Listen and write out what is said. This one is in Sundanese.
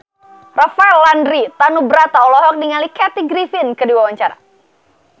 Rafael Landry Tanubrata olohok ningali Kathy Griffin keur diwawancara